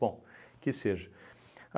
Bom, que seja.